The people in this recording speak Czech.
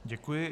Děkuji.